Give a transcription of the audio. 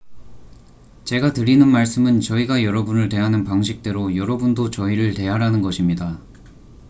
제가 드리는 말씀은 저희가 여러분을 대하는 방식대로 여러분도 저희를 대하라는 것입니다